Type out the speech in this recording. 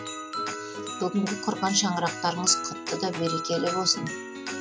бүгінгі құрған шаңырақтарыңыз құтты да берекелі болсын